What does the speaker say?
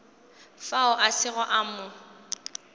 fao a sego a mo